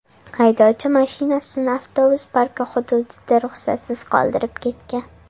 Haydovchi mashinasini avtobus parki hududida ruxsatsiz qoldirib ketgan.